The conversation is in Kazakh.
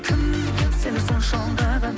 кім сені сонша алдаған